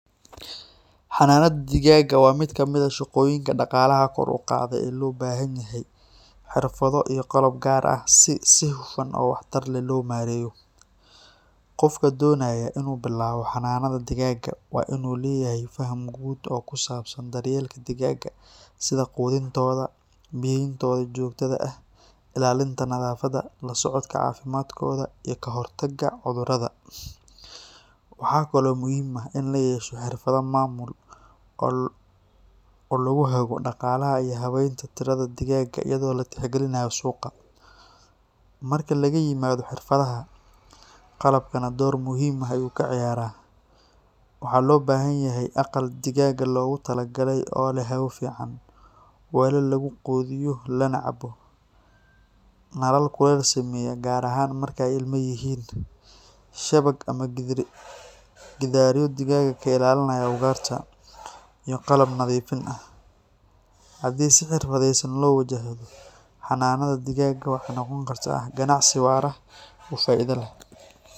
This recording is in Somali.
Xanaanada digaagga waa mid ka mid ah shaqooyinka dhaqaalaha kor u qaada ee loo baahan yahay xirfado iyo qalab gaar ah si si hufan oo waxtar leh loo maareeyo. Qofka doonaya inuu bilaabo xanaanada digaagga waa inuu leeyahay faham guud oo ku saabsan daryeelka digaagga, sida quudintooda, biyeyntooda joogtada ah, ilaalinta nadaafadda, la socodka caafimaadkooda, iyo ka hortagga cudurrada. Waxaa kaloo muhiim ah in la yeesho xirfado maamul oo lagu hago dhaqaalaha iyo habaynta tirada digaagga iyadoo la tixgelinayo suuqa. Marka laga yimaado xirfadaha, qalabkana door muhiim ah ayuu ka ciyaaraa. Waxaa loo baahan yahay aqal digaagga loogu talagalay oo leh hawo fiican, weelal lagu quudiyo lana cabo, nalal kuleyl sameeya gaar ahaan marka ay ilma yihiin, shabag ama gidaaryo digaagga ka ilaaliya ugaarta, iyo qalab nadiifin ah. Haddii si xirfadaysan loo wajahdo, xanaanada digaagga waxay noqon kartaa ganacsi waara oo faa’iido leh.